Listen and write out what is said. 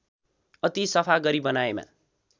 अति सफा गरी बनाएमा